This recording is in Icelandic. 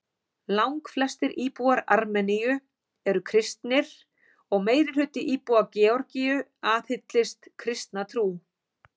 Langflestir íbúar Armeníu eru kristnir og meirihluti íbúa Georgíu aðhyllist kristna trú.